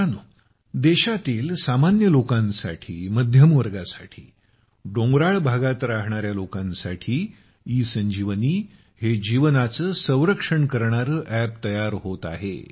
मित्रांनो देशातील सामान्य लोकांसाठी मध्यमवर्गासाठी पहाडी क्षेत्रामध्ये रहाणार्या लोकांसाठी ई संजीवनी हे जीवनाचं संरक्षण करणारं अप तयार होत आहे